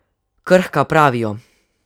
Krhka, pravijo.